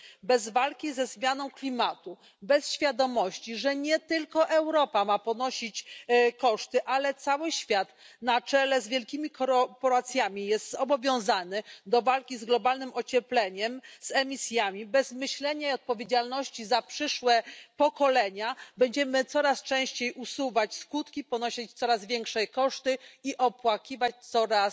Bez walki ze zmianą klimatu, bez świadomości, że nie tylko Europa ma ponosić koszty, ale cały świat na czele z wielkimi korporacjami jest zobowiązany do walki z globalnym ociepleniem i z emisjami, bez myślenia o odpowiedzialności za przyszłe pokolenia będziemy coraz częściej usuwać skutki, ponosić coraz większe koszty i opłakiwać coraz